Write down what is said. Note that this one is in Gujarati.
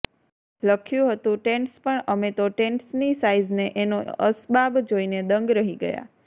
લખ્યું હતું ટેન્ટ્સ પણ અમે તો ટેન્ટ્સની સાઈઝ ને એનો અસબાબ જોઈને દંગ રહી ગયા